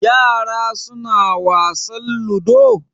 Yara suna wasan ludo?